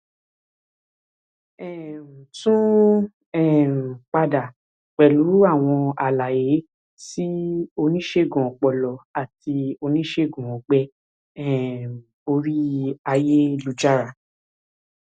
um tún um padà pẹlú àwọn àlàyé sí oníṣègùn ọpọlọ àti oníṣègùn ọgbẹ um orí ayélujára